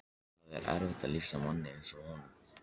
Það er erfitt að lýsa manni eins og honum.